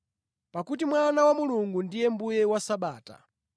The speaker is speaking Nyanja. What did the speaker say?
Pakuti Mwana wa Munthu ndiye Mbuye wa Sabata.”